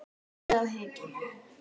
andi á hikinu.